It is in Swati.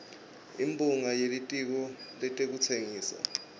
imphunga yelitiko letekutsengisa